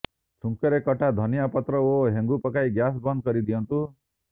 ଛୁଙ୍କରେ କଟା ଧନିଆ ପତ୍ର ଓ ହେଙ୍ଗୁ ପକାଇ ଗ୍ୟାସ୍ ବନ୍ଦ କରି ଦିଅନ୍ତୁ